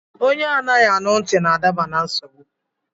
Onye anaghị anụ ntị n'adaba na nsogbụ